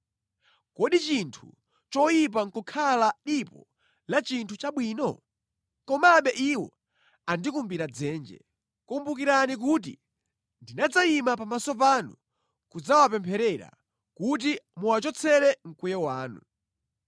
Kodi chinthu choyipa nʼkukhala dipo la chinthu chabwino? Komabe iwo andikumbira dzenje. Kumbukirani kuti ndinadzayima pamaso panu kudzawapempherera kuti muwachotsere mkwiyo wanu.